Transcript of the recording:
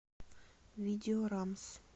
видео рамс